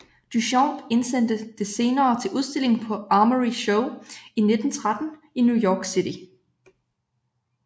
Duchamp indsendte det senere til udstilling på Armory Show 1913 i New York City